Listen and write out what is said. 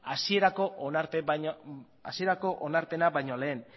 hasierako onarpena baino lehen